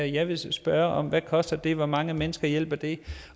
jeg vil spørge om hvad koster det og hvor mange mennesker hjælper det